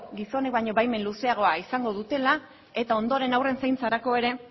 gizonen baino baimen luzeagoa izango dutela eta ondoren haurren zaintzarako ere